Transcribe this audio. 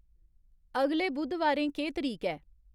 अगले बु़द्धबारें केह् तरीक ऐ